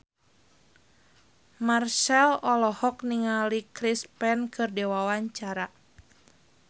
Marchell olohok ningali Chris Pane keur diwawancara